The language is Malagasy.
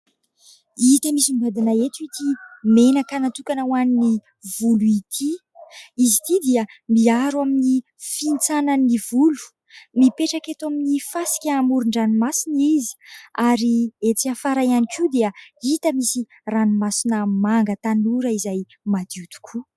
Hita misongadina ety ity menaka natokana ho an'ny volo ity. Izy itỳ dia miaro amin'ny fihintsanan'ny volo, mipetraka eto amin'ny fasika amoron-dranomasina izy ary etỳ afara ihany koa dia hita misy ranomasina manga tanora izay madio tokoa.